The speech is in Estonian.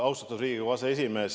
Austatud Riigikogu aseesimees!